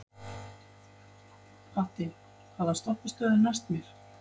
Patti, hvaða stoppistöð er næst mér?